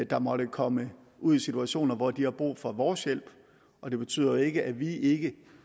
der måtte komme ud i situationer hvor de har brug for vores hjælp og det betyder jo ikke at vi ikke